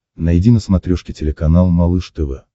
найди на смотрешке телеканал малыш тв